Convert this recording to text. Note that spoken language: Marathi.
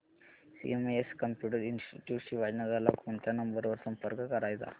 सीएमएस कम्प्युटर इंस्टीट्यूट शिवाजीनगर ला कोणत्या नंबर वर संपर्क करायचा